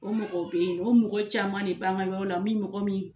O mɔgɔ bɛ yen o mɔgɔ caman de banga yɔrɔ la min mɔgɔ min.